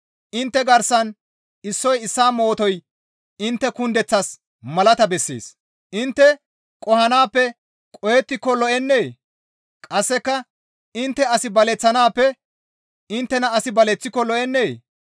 Intte garsan issoy issaa mootoy intte kundeththaas malata bessees. Intte qohanaappe qohettiko lo7ennee? Qasseka intte as baleththanaappe inttena asi baleththiko lo7ennee?